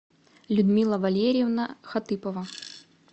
людмила валерьевна хатыпова